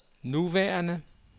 nuværende